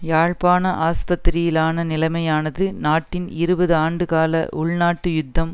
யாழ்ப்பாண ஆஸ்பத்திரியிலான நிலைமையானது நாட்டின் இருபது ஆண்டுகால உள்நாட்டு யுத்தம்